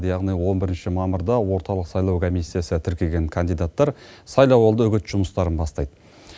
яғни он бірінші мамырда орталық сайлау комиссиясы тіркеген кандидаттар сайлауалды үгіт жұмыстарын бастайды